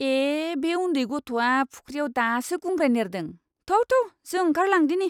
ए! बै उन्दै गथ'आ फुख्रियाव दासो गुंग्राय नेरदों। थौ थौ जों ओंखारलांदिनि!